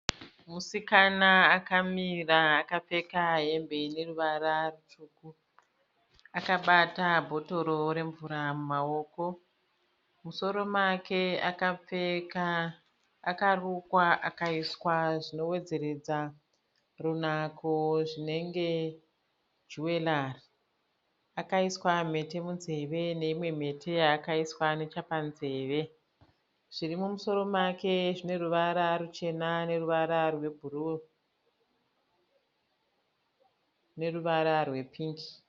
Musikana akamira akapfeka hembe ine ruvara rutsvuku. Akabata bhotoro remvura mumaoko. Mumusoro make akarukwa akaiswa zvinowedzeredza runako zvinenge juwerari. Akaiswa mhete munzeve neimwe mhete yaakaiswa nechepanzeve. Zviri mumusoro make zvine ruvara ruchena neruvara rwebhuruu neruvara rwepingi.